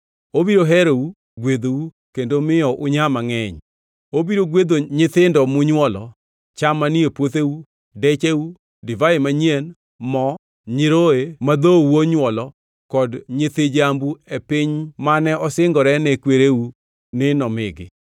Obiro herou, gwedhou kendo miyo unyaa mangʼeny, obiro gwedho nyithindo munywolo, cham manie puotheu, decheu, divai manyien, mo, nyiroye ma dhou onywolo kod nyithi jambu e piny mane osingore ne kwereu ni nomigi.